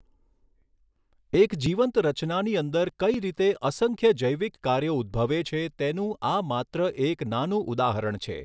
એક જીવંત રચનાની અંદર કઈ રીતે અસંખ્ય જૈવિક કાર્યો ઉદ્દભવે છે તેનું આ માત્ર એક નાનું ઉદાહરણ છે.